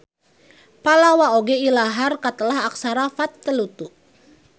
Pallawa oge ilahar katelah aksara Vatteluttu.